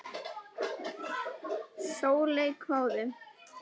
Sóley hváði.